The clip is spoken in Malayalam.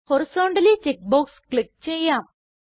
ഹോറൈസന്റലി ചെക്ക് ബോക്സ് ക്ലിക്ക് ചെയ്യാം